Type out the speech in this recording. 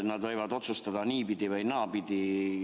Nad võivad otsustada niipidi või naapidi.